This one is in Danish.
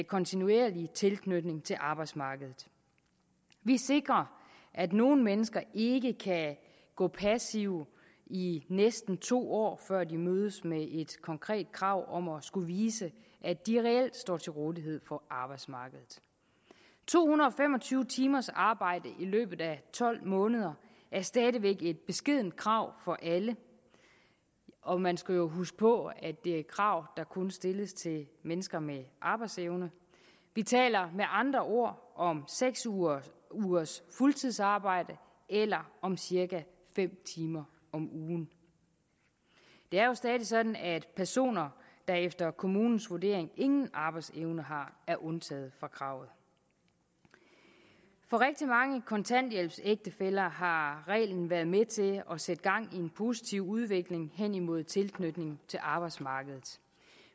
kontinuerlig tilknytning til arbejdsmarkedet vi sikrer at nogle mennesker ikke kan gå passive i næsten to år før de mødes med et konkret krav om at skulle vise at de reelt står til rådighed for arbejdsmarkedet to hundrede og fem og tyve timers arbejde i løbet af tolv måneder er stadig væk et beskedent krav for alle og man skal jo huske på at det er et krav der kun stilles til mennesker med arbejdsevne vi taler med andre ord om seks ugers ugers fuldtidsarbejde eller om cirka fem timer om ugen det er jo stadig sådan at personer der efter kommunens vurdering ingen arbejdsevne har er undtaget fra kravet for rigtig mange kontanthjælpsægtefæller har reglen været med til at sætte gang i en positiv udvikling hen imod tilknytning til arbejdsmarkedet